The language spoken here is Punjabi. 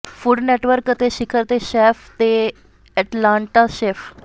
ਫੂਡ ਨੈਟਵਰਕ ਅਤੇ ਸਿਖਰ ਤੇ ਸ਼ੈੱਫ ਤੇ ਐਟਲਾਂਟਾ ਸ਼ੇਫ